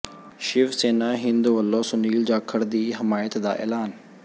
ਸ਼ਿਵ ਸੈਨਾ ਹਿੰਦ ਵੱਲੋਂ ਸੁਨੀਲ ਜਾਖੜ ਦੀ ਹਮਾਇਤ ਦਾ ਐਲਾਨ